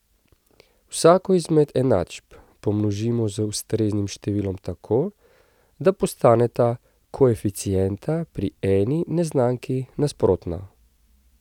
Vsako izmed enačb pomnožimo z ustreznim številom tako, da postaneta koeficienta pri eni neznanki nasprotna.